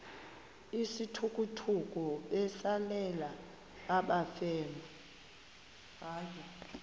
izithukuthuku besalela abafelwa